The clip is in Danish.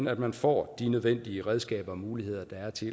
at man får de nødvendige redskaber og de muligheder der er til